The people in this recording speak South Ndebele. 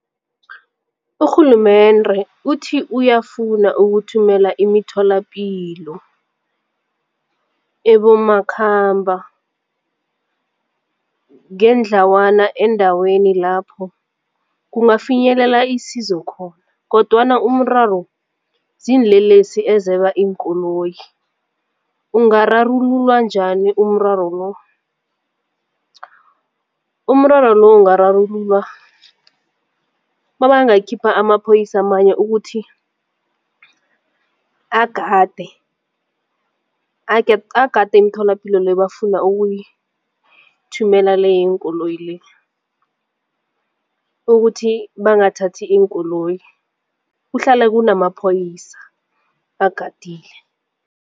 Urhulumende uthi uyafuna ukuthumela imitholapilo ebomakhambangendlawana eendaweni lapho kungafinyelela isizo khona kodwana umraro ziinlelesi ezeba iinkoloyi, ungararululwa njani umraro lo? Umraro lo ungararululwa nabangayikhipha amaphoyisa amanye ukuthi agade agade imitholapilo leyo bafuna okuyithumela le yeenkoloyi le ukuthi bangathathi iinkoloyi kuhlale kunama maphoyisa bagadile.